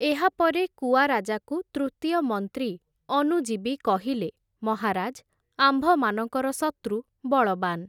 ଏହାପରେ କୁଆରାଜାକୁ ତୃତୀୟ ମନ୍ତ୍ରୀ ଅନୁଜୀବି କହିଲେ, ମହାରାଜ୍, ଆମ୍ଭମାନଙ୍କର ଶତ୍ରୁ ବଳବାନ୍ ।